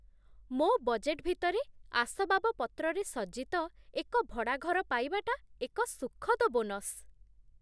ମୋ ବଜେଟ୍ ଭିତରେ ଆସବାବପତ୍ରରେ ସଜ୍ଜିତ ଏକ ଭଡ଼ା ଘର ପାଇବାଟା ଏକ ସୁଖଦ ବୋନସ।